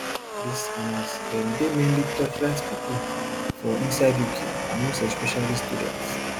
dis scammers dem dey mainly torchlight pipo for inside uk and most especially students